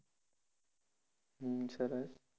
હમ સરસ